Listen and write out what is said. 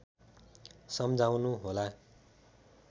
सम्झाउनु होला